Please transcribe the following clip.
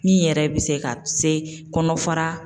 Min yɛrɛ bɛ se ka se kɔnɔ fara